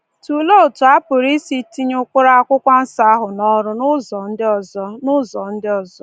Tụlee otu a pụrụ isi tinye ụkpụrụ Akwụkwọ Nsọ ahụ n’ọrụ n’ụzọ ndị ọzọ. n’ụzọ ndị ọzọ.